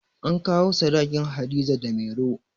An kawo sadakin Hadiza da Mairo